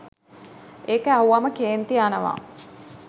ඒක ඇහුවම කේන්ති යනවා